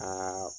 Aa